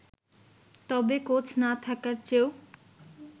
তবে কোচ না থাকার চেয়েও